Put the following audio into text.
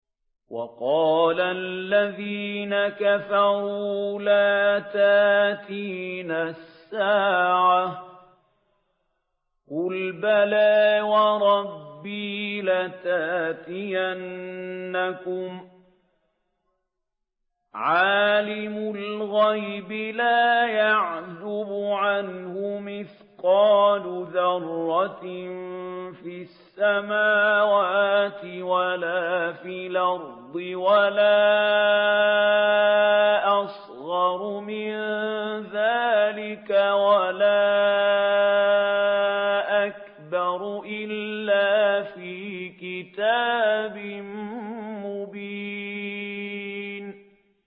وَقَالَ الَّذِينَ كَفَرُوا لَا تَأْتِينَا السَّاعَةُ ۖ قُلْ بَلَىٰ وَرَبِّي لَتَأْتِيَنَّكُمْ عَالِمِ الْغَيْبِ ۖ لَا يَعْزُبُ عَنْهُ مِثْقَالُ ذَرَّةٍ فِي السَّمَاوَاتِ وَلَا فِي الْأَرْضِ وَلَا أَصْغَرُ مِن ذَٰلِكَ وَلَا أَكْبَرُ إِلَّا فِي كِتَابٍ مُّبِينٍ